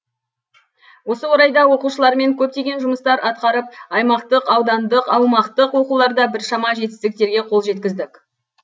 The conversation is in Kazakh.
осы орайда оқушылармен көптеген жұмыстар атқарып аймақтық аудандық аумақтық оқуларда біршама жетістіктерге қол жеткіздік